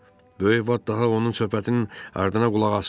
Böyük Vat daha onun söhbətinin ardına qulaq asmadı.